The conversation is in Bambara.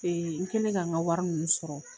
Ee n kɛlen k'an ka wari ninnu sɔrɔ